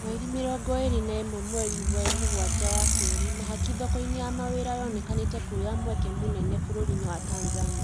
Mweri mĩrongo ĩrĩ na ĩmwe mweri wa Mũgwanja Wa Keerĩ, mahaki thoko-inĩ ya mawĩra nĩyonekanĩte kuoya mweke mũnene bũrũri-inĩ wa Tanzania